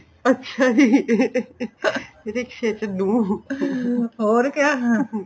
ਅੱਛਾ ਜੀ ਰਿਕਸ਼ੇ ਚ ਨੂਹ ਹੋਰ ਕਿਆ